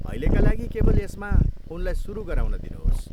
अहिलेका लागि केवल यसमा उनलाई सुरु गराउन दिनुहोस्।